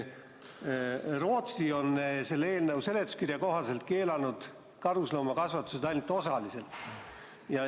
Rootsi on selle eelnõu seletuskirja kohaselt keelanud karusloomakasvandused ainult osaliselt.